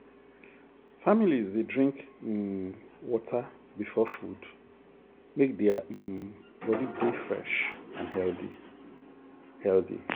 families dey drink um water before food make their um body dey fresh and healthy. healthy.